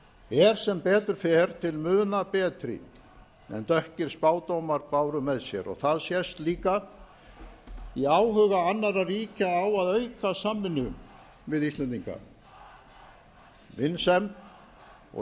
er sem betur fer til muna betri en dökkir spádómar báru með sér og það sést líka í áhuga annarra ríkja á að auka samvinnu við íslendinga vinsemd og